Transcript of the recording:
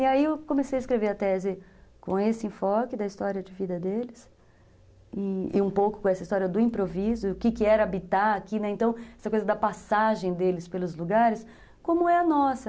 E aí eu comecei a escrever a tese com esse enfoque da história de vida deles e um pouco com essa história do improviso, o que era habitar aqui, essa coisa da passagem deles pelos lugares, como é a nossa.